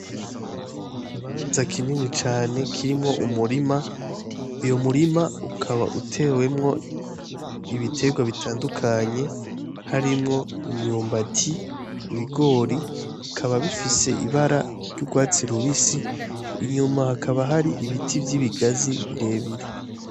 Ikibanza kinini cane kirimwo umurima uyo murima ukaba utewemwo ibiterwa bitandukanye harimwo imyumbati ibigori bikaba bifise ibara ry'urwatsi rubisi inyuma hakaba hari ibiti vy'ibigazi birebire.